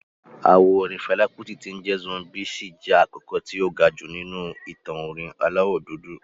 Àwo orin Fẹlá Kútì tí ń jẹ́ "Zombie" ṣì jẹ́ àkọ́kọ́ tí ó ga jù nínú ìtàn orin aláwọ̀ dúdú